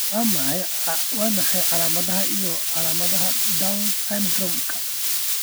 Waa maxay calaamadaha iyo calaamadaha Down syndrome-ka?